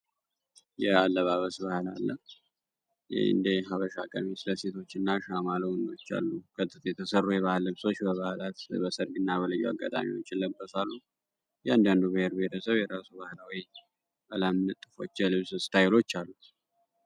የአለባበስ ባህል አለ እንደ ሃበሻ ቀሚስ ለሴቶች የተሰሩ የባህል ልብሶች ለበዓላት ለሰርግ ይለበሳሉ እያንዳንዱ ብሔር ብሔረሰብ ለራሱ የተለያዩ የልብስ እስታይሎች አሉት።